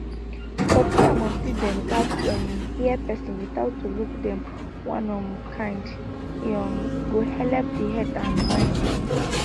popsi and momsi dem gats um hear persin without to look dem one um kind e um go helep the head and mind